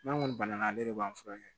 N'an kɔni banana ale de b'an furakɛ